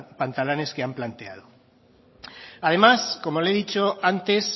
pantalanes que han planteado además como le he dicho antes